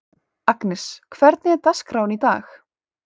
Agnes, hvernig er dagskráin í dag?